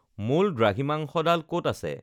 মূল দ্ৰাঘিমাংশডাল ক'ত আছে